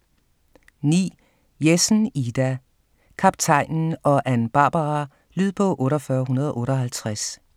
9. Jessen, Ida: Kaptajnen og Ann Barbara Lydbog 48158